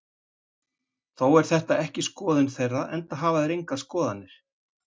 Þó er þetta ekki skoðun þeirra, enda hafa þeir engar skoðanir.